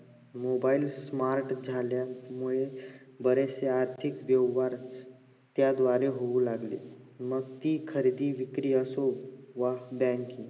mobile smart झाल्यामुळे बरेचशे आर्थिक व्यवहार त्याद्वारे होऊ लागले मग ती खरेदी विक्री असो व banking